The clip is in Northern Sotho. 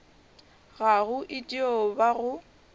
gago e dio ba go